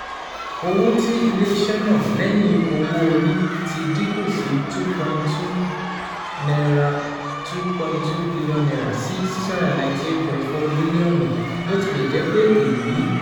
Owo ti ile-iṣẹ naa lẹhin owo-ori ti dinku lati N two point two N two point two bilionu si N six hundred ninety eight point four milionu, botilẹjẹpe eyi